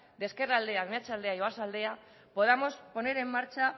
de ezkerraldea meatzaldea y oarsoaldea podamos poner en marcha